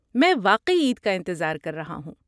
میں واقعی عید کا انتظار کر رہا ہوں۔